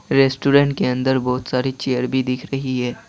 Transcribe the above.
Restaurant के अंदर बहुत सारी चेयर भी दिख रही है।